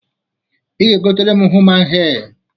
I ga-egotara m human hee!